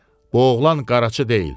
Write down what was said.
Bu oğlan qaraçı deyil.